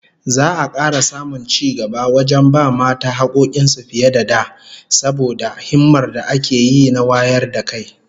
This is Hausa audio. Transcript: Za'a kara samun cigaba wajen ba mata hakkokin su fiye da da, saboda himmar da ake yi na wayar da kai